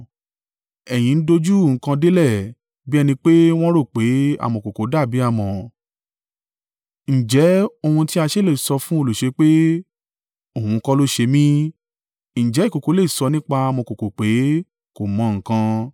Ẹ̀yin dojú nǹkan délẹ̀, bí ẹni pé wọ́n rò pé amọ̀kòkò dàbí amọ̀! Ǹjẹ́ ohun tí a ṣe le sọ fún olùṣe pé, “Òun kọ́ ló ṣe mí”? Ǹjẹ́ ìkòkò lè sọ nípa amọ̀kòkò pé, “Kò mọ nǹkan”?